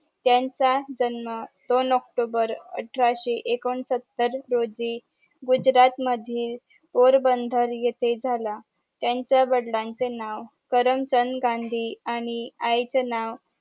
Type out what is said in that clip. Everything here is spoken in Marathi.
त्यांचा जन्म दोन ऑक्टोबर अठराशे एकोणसतर रोजी गुजरात मधील पोरबंदर येथे झाला त्यांच्या वडिलांचे नाव करमचंद गांधी आणि आईचे नाव